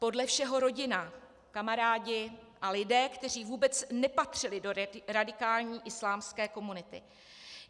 Podle všeho rodina, kamarádi a lidé, kteří vůbec nepatřili do radikální islámské komunity.